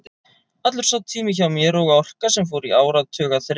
Allur sá tími hjá mér og orka, sem fór í áratuga þref við